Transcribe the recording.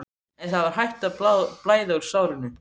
En það var hætt að blæða úr sárinu.